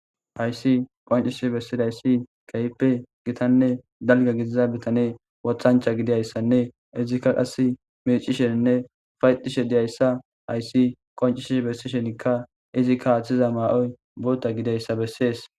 Hayssi qoncisi bessidayssi keype gitanne dalga gidiza bitane wothancha gidiayssanne izikka qas micisheninne fayxishe diyayssa hayssi qoncisi bessishenikka izikka haaththiza maa'oy boota gideyssa bessees.